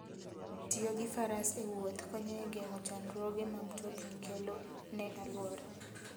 tiyo gi faras ewuoth konyo e geng'o chandruoge ma mtokni kelo ne alwora.